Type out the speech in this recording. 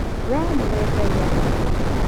Wee nĩwe Ngai aaheire.